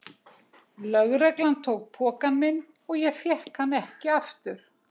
Lögreglan tók pokann minn og ég fékk hann ekki aftur.